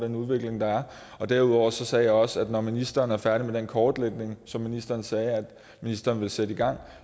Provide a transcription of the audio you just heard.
den udvikling der er derudover sagde jeg også at når ministeren er færdig med den kortlægning som ministeren sagde at ministeren ville sætte i gang